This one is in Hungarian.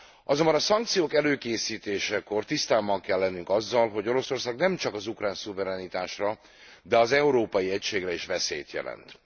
Azonban a szankciók előkészítésekor tisztában kell lennünk azzal, hogy Oroszország nemcsak az ukrán szuverenitásra, de az európai egységre is veszélyt jelent.